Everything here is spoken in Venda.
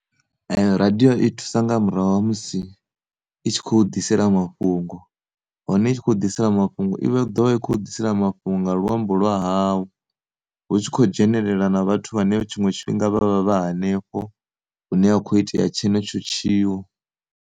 Radio i thusa nga murahu ha musi i tshi khou ḓisela mafhungo hone i tshi khou ḓisela mafhungo i vha i tshi khou ḓisela mafhungo nga luambo lwa hawu hu tshi khou dzhenelela na vhathu vhane tshiṅwe tshifhinga vha vha vha hanefho hune ha kho ita tshenetsho tshiwo.